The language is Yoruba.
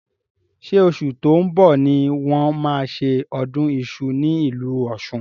Ṣé oṣù tó ń bọ̀ ni wọ́n máa ṣe ọdún iṣu ní ìlú Ọ̀ṣun?